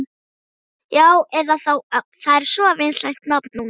Já, eða þá Ögn, það er svo vinsælt nafn núna.